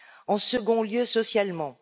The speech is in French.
En second lieu, socialement.